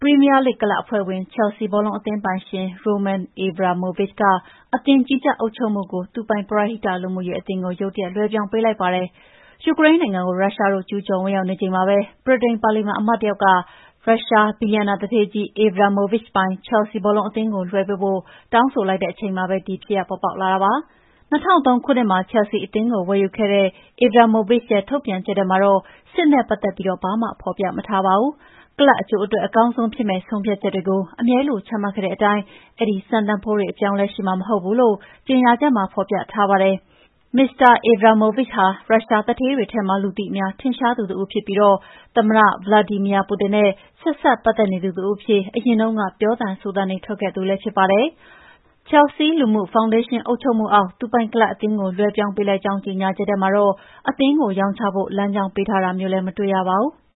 ီးမီးယားလိဂ် ကလပ်အဖွဲ့ဝင် ချဲလ်ဆီးဘောလုံးအသင်းပိုင်ရှင် Roman Abramovich က အသင်းကြီးကြပ်အုပ်ချုပ်မှုကို သူပိုင် ပရဟိတ လူမှုရေးအသင်းကို ရုတ်တရက် လွှဲပြောင်းပေးလိုက်ပါတယ်။ ယူကရိန်းနိုင်ငံကို ရုရှားတို့ ကျူးကျော်ဝင်ရောက်နေချိန်မှာပဲ ဗြိတိန် ပါလီမန်အမတ်တယောက်က ရုရှား ဘီလီယံနာသူဌေးကြီး Abramovich ပိုင် ခဲျလ်ဆီး ဘောလုံးအသင်းကို လွှဲပေးဖို့ တောင်းဆိုလိုက်တဲ့ အချိန်မှာပဲ ဒီဖြစ်ရပ် ပေါ်ပေါက်လာတာပါ။ ၂၀၀၃ ခုနှစ်မှာ ခဲျလ်ဆီးအသင်းကို ဝယ်ယူခဲ့တဲ့ Abramovich ရဲ့ ထုတ်ပြန်ချက်ထဲမှာတော့ စစ်နဲ့ပတ်သက်ပြီး ဘာမှ ဖော်ပြမထားပါဘူး။ ကလပ်အကျိုးအတွက် အကောင်းဆုံးဖြစ်မယ့် ဆုံးဖြတ်ချက်တွေကို အမြဲလို ချမှတ်ခဲ့တဲ့အတိုင်း အဲဒီစံတန်ဖိုးတွေ အပြောင်းအလဲရှိမှာ မဟုတ်ဘူးလို့ ကြေညာချက်မှာ ဖော်ပြထားပါတယ်။ မစ္စတာ Abramovich ဟာ ရုရှားသူဌေးတွေထဲမှာ လူသိများ ထင်ရှားသူတဦးဖြစ်ပြီး သမ္မတ ဗလာဒီမီယာပူတင်နဲ့ ဆက်စပ်ပတ်သက်နေသူ တဦးအဖြစ် အရင်တုန်းက ပြောသံဆိုသံတွေ ထွက်ခဲ့သူလည်း ဖြစ်ပါတယ်။ ခဲျလ်ဆီး လူမှုရေးဖောင်ဒေးရှင်း အုပ်ချုပ်မှုအောက် သူပိုင်ကလပ်အသင်းကို လွှဲပြောင်းပေးလိုက်ကြောင်း ကြေညာချက်ထဲမှာတော့ အသင်းကို ရောင်းချဖို့ လမ်းကြောင်းပေးထားတာမျိုးလည်း မတွေ့ရပါဘူး။